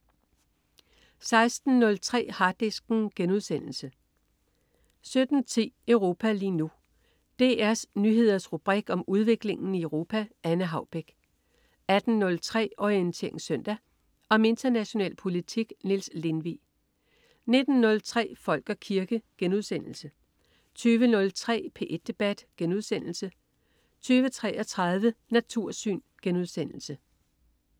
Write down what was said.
16.03 Harddisken* 17.10 Europa lige nu. DR Nyheders rubrik om udviklingen i Europa. Anne Haubek 18.03 Orientering Søndag. Om international politik. Niels Lindvig 19.03 Folk og kirke* 20.03 P1 Debat* 20.33 Natursyn*